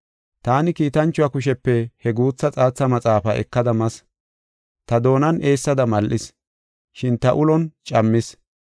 Taani kiitanchuwa kushepe he guutha xaatha maxaafaa ekada mas; ta doonan eessada mal7is, shin ta ulon cammis.